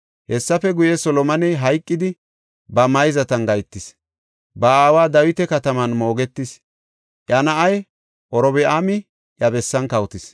Hessafe guye, Solomoney hayqidi ba mayzatan gahetis; ba aawa Dawita kataman moogetis. Iya na7ay Robi7aami iya bessan kawotis.